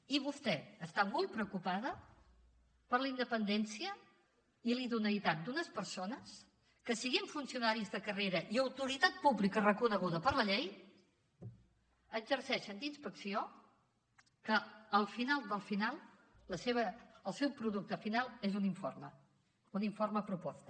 i vostè està molt preocupada per la independència i la idoneïtat d’unes persones que sent funcionaris de carrera i autoritat pública reconeguda per la llei exerceixen d’inspecció que al final del final el seu producte final és un informe un informe proposta